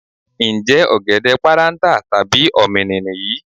Ǹjẹ́ ọ̀gẹ̀dẹ̀ páráǹtà tàbí ọ̀mìnì nìyí?